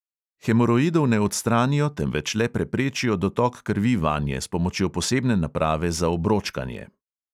Hemoroidov ne odstranijo, temveč le preprečijo dotok krvi vanje s pomočjo posebne naprave za obročkanje.